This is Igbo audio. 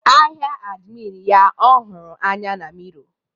ahịa admin ya ọhụrụ anya na mirror